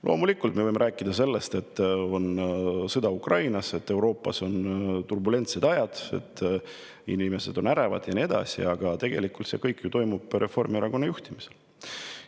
Loomulikult me võime rääkida sellest, et Ukrainas on sõda ja Euroopas on turbulentsed ajad, inimesed on ärevad ja nii edasi, aga tegelikult toimub see kõik Reformierakonna juhtimisel.